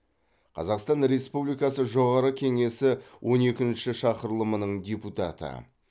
қазақстан республикасы жоғарғы кеңесі он екінші шақырылымының депутаты